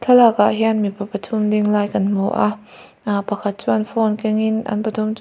thlalak ah hian mipa pathu ding lai kan hmu a ahh pakhat chuan phone keng in an pathum chuan.